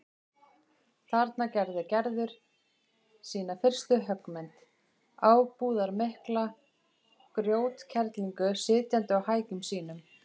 Þarna gerði Gerður sína fyrstu höggmynd, ábúðarmikla grjótkerlingu sitjandi á hækjum sínum.